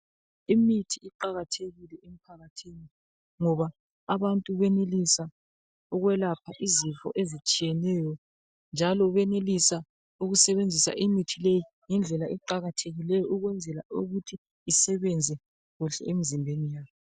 Imithi iqakathekile ngoba abantu benenelisa ukwelapha izifo ezitshiyeneyo, njalo banelisa ukusebenzisa imithi le ngendlela eqakathekileyo ukwenzela ukuthi isebenze emizimbeni